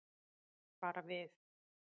Bara við.